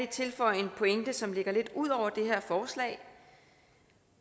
tilføje en pointe som ligger lidt ud over det her forslag